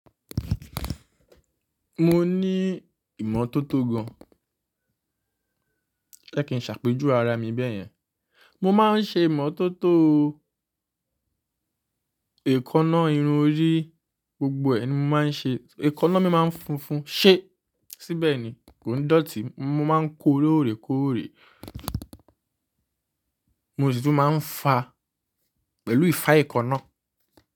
Mo ní ìmọ́tótó gan. Kẹ́ kin ṣàpèjú ara mi bẹ́yẹn. Mo máa ń ṣe ìmọ́tótó o. Èkáná irun orí gbogbo ni mo máa ń ṣe. Èkáná mi máa ń funfun. Ṣé? Síbẹ̀ ni kò ń dọ̀tí, mo máa ń kó lóòrèkóòrè. Mo sì tún máa ń fá pẹ̀lú ifá èékáná.